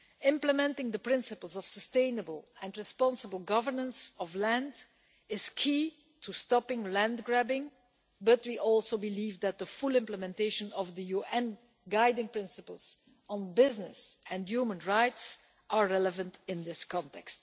Implementing the principles of sustainable and responsible governance of land is key to stopping land grabbing, but we believe, too, that full implementation of the UN guiding principles on business and human rights is relevant in this context.